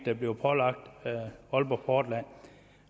er blevet pålagt aalborg portland